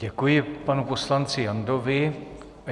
Děkuji panu poslanci Jandovi.